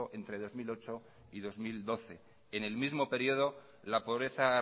entre dos mil ocho y dos mil doce en el mismo periodo la pobreza